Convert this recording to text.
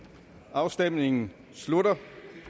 afstemningen slutter